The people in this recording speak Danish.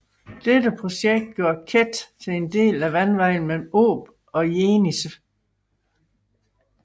Dette projekt gjorde Ket til en del af vandvejen mellem Ob og Jenisej